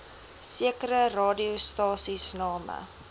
sekere radiostasies name